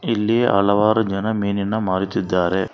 ಇಲ್ಲಿ ಹಲವಾರು ಜನ ಮೀನಿನ ಮಾರುತ್ತಿದ್ದಾರೆ.